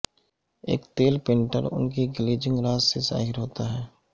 ایک تیل پینٹر ان کی گلیجنگ راز سے ظاہر ہوتا ہے